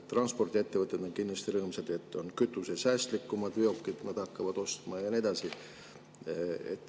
Transpordiettevõtted on kindlasti rõõmsad, et on hakatakse ostma kütusesäästlikumaid veokeid, ja nii edasi.